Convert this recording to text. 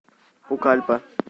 пукальпа